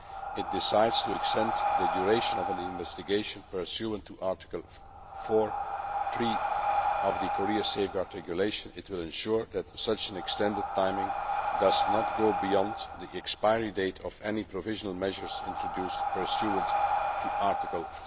it decides to extend the duration of an investigation pursuant to Article 4 of the Korea Safeguard Regulation, it will ensure that such an extended timing does not go beyond the expiry date of any provisional measures introduced pursuant to Article